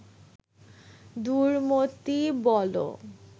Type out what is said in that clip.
দুর্মতি বলো